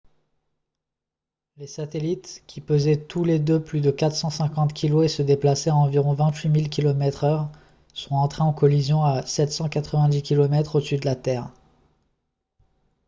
les satellites qui pesaient tous les deux plus de 450 kg et se déplaçaient à environ 28000 km/h sont entrés en collision à 790 km au-dessus de la terre